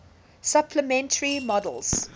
supplementary models